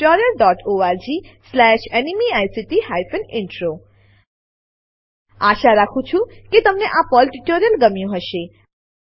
httpspoken tutorialorgNMEICT Intro આશા રાખું છું કે તમને આ પર્લ ટ્યુટોરીયલ ગમ્યું હશે